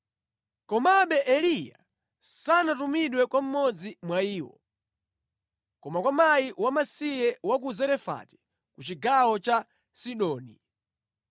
Komabe Eliya sanatumidwe kwa mmodzi mwa iwo, koma kwa mkazi wamasiye wa ku Zerefati ku chigawo cha Sidoni.